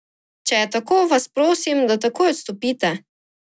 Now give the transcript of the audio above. Če je tako, vas prosim, da takoj odstopite!